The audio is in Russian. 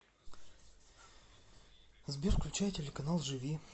сбер включай телеканал живи